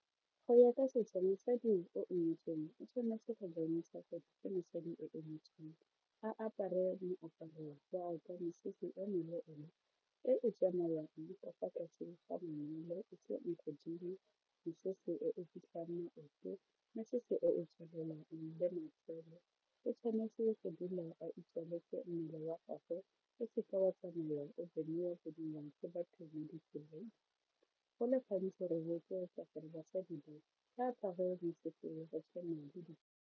Go ya ka setso mosadi o o nyetsweng o tshwanetse go bontsha gore ke mosadi o o nyetsweng a apare moaparo jaaka mosese e meleele e e tsamayang mesese e e fitlhang maoto, mesese o tswelelang le matsele o tshwanetse go dula a itswaletse mmele wa gagwe o se ke wa tsamaya o boniwa boniwa ke batho mo ditseleng go le gantsi re rotloetsa gore basadi ba ba apare mesese ya go tshwana le.